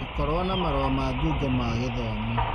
Gũkorwo na marũa ma ngungo ma gĩthomo